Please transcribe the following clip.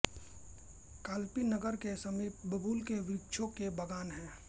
कालपी नगर के समीप बबूल के वृक्षों के बाग़ान हैं